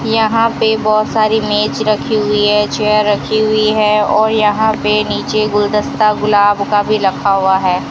यहां पर बहुत सारी मेज रखी हुई है चेयर रखी हुई है और यहां पर नीचे गुलदस्ता गुलाब का भी रखा हुआ है।